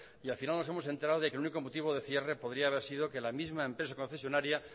y al final nos hemos enterado de que el único motivo de cierre podría haber sido que la misma empresa concesionaria